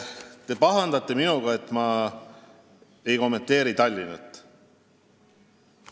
Te pahandate minuga, et ma ei kommenteeri Tallinnas toimuvat.